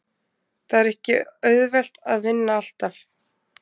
Það er ekki auðvelt að vinna alltaf.